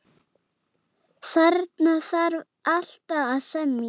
Þarna þarf alltaf að semja.